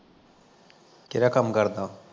ਕਿਹਦਾ ਕੰਮ ਕਰਦਾ ਓਹ